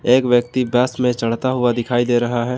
एक व्यक्ति बस में चढ़ता हुआ दिखाई दे रहा है।